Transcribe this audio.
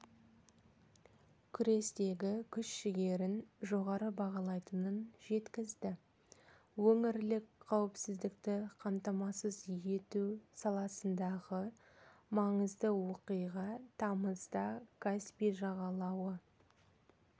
күрестегі күш-жігерін жоғары бағалайтынын жеткізді өңірлік қауіпсіздікті қамтамасыз ету саласындағы маңызды оқиға тамызда каспий жағалауы